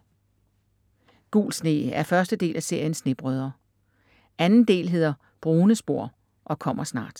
Gul sne er første del af serien Snebrødre. Anden del hedder Brune spor og kommer snart.